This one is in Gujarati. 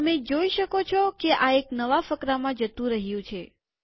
તમે જોઈ શકો છો કે આ એક નવા ફકરામાં જતું રહ્યું છે